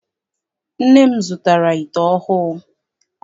Nne m zụtara ite ọhụụ.